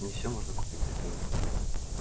не все можно купить за деньги